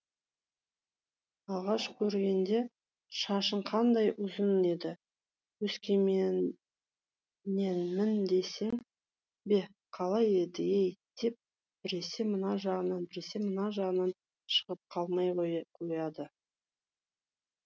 алғаш көргенде шашың қандай ұзын еді өскеменненмін дейсің бе қалай еді ей деп біресе мына жағынан біресе мына жағынан шығып қалмай қояды